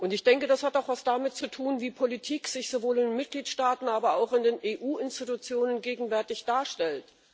Ich denke, das hat auch etwas damit zu tun, wie Politik sich sowohl in den Mitgliedstaaten, aber auch in den EU Institutionen gegenwärtig darstellt.